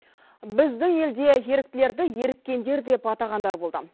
біздің елде еріктілерді еріккендер деп атағандар болды